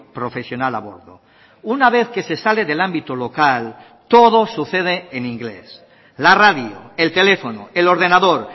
profesional a bordo una vez que se sale del ámbito local todo sucede en inglés la radio el teléfono el ordenador